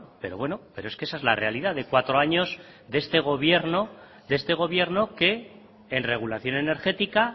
pero bueno es que esa es la realidad de cuatro años de este gobierno que en regulación energética